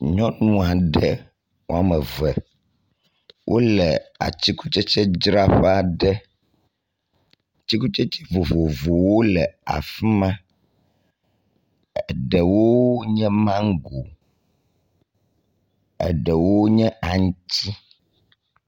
Nyɔnu aɖe wɔme eve wo le atsikukudzraƒe aɖe. Atikutsetse vovovowo le fi ma. Ɖewo nye mago, eɖewo nye aŋtsi.